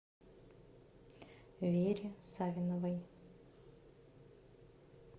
вере савиновой